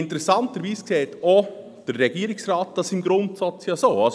Interessanterweise sieht dies der Regierungsrat im Grundsatz auch so.